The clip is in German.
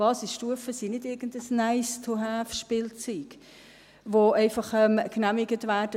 Basisstufen sind nicht irgendein Nice-to-haveSpielzeug, das einfach genehmigt wird.